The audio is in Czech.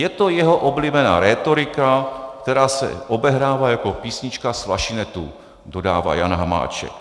Je to jeho oblíbená rétorika, která se obehrává jako písnička z flašinetu," dodává Jan Hamáček.